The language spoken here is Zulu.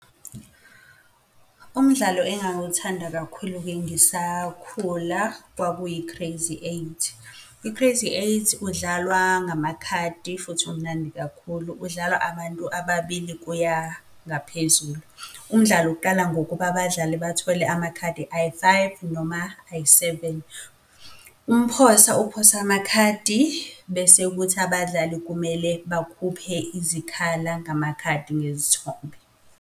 Umdlalo engangiwuthanda kakhulu-ke ngisakhula, kwakuyi-crazy eight. I-crazy eight udlalwa ngamakhadi, futhi umnandi kakhulu udlalwa abantu ababili kuya ngaphezulu. Umdlalo uqala ngokuba abadlali bathole amakhadi ayi-five noma ayi-seven. Umphosa uphosa amakhadi, bese kuthi abadlali kumele bakhuphe izikhala ngamakhadi ngezithombe.